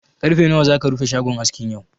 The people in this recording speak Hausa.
Ƙarfe nawa zaka rufe shagon askin yau?